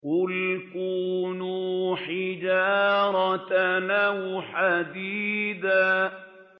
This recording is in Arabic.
۞ قُلْ كُونُوا حِجَارَةً أَوْ حَدِيدًا